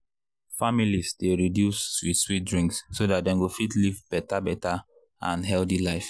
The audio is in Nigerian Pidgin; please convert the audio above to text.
families dey reduce sweet sweet drinks so dat dem go fit live better better and healthy life.